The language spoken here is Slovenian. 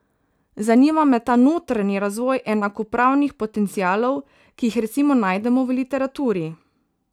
Zanima me ta notranji razvoj enakopravnih potencialov, ki jih recimo najdemo v literaturi.